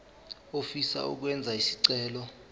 ofisa ukwenza isicelo